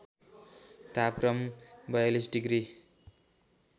तापक्रम ४२ डिग्री